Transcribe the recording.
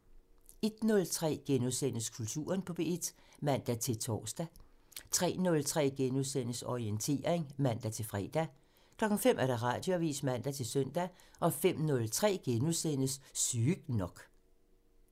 01:03: Kulturen på P1 *(man-tor) 03:03: Orientering *(man-fre) 05:00: Radioavisen (man-søn) 05:03: Sygt nok *(man)